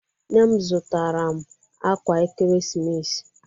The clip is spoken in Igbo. Nne m zụtara m ákwà ekeresimesi